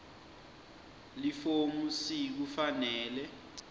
lifomu c kufanele